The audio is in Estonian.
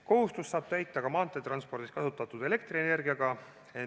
Kohustust saab täita ka maanteetranspordis kasutatud elektrienergiaga.